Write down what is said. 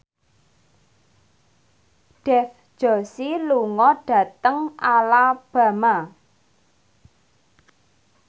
Dev Joshi lunga dhateng Alabama